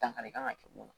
Dankari kan ka kɛ mun na